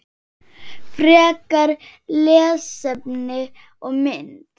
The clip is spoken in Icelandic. Frekara lesefni og mynd